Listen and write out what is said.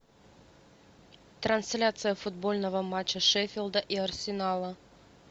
трансляция футбольного матча шеффилда и арсенала